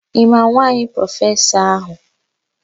Ị ma nwaanyị prọfesọ áhụ̀?